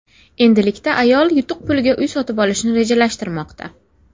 Endilikda ayol yutuq puliga uy sotib olishni rejalashtirmoqda.